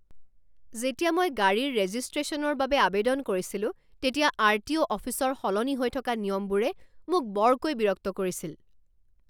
যেতিয়া মই গাড়ীৰ ৰেজিষ্ট্ৰেশ্যনৰ বাবে আৱেদন কৰিছিলো তেতিয়া আৰটিঅ' অফিচৰ সলনি হৈ থকা নিয়মবোৰে মোক বৰকৈ বিৰক্ত কৰিছিল।